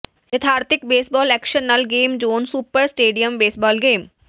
ਯਥਾਰਥਿਕ baseball action ਨਾਲ game zone super stadium baseball game